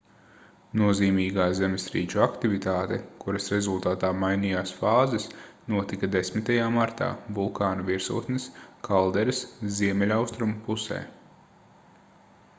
nozīmīgā zemestrīču aktivitāte kuras rezultātā mainījās fāzes notika 10. martā vulkāna virsotnes kalderas ziemeļaustrumu pusē